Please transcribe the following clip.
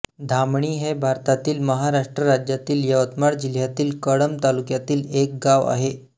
धामणी हे भारतातील महाराष्ट्र राज्यातील यवतमाळ जिल्ह्यातील कळंब तालुक्यातील एक गाव आहे